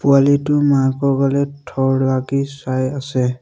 পোৱালিটো মাকৰ ফালে থৰ লাগি চাই আছে।